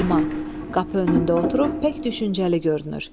Səlma, qapı önündə oturub pək düşüncəli görünür.